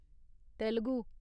Telugu